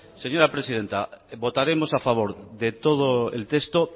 señora presidenta votaremos a favor de todo el texto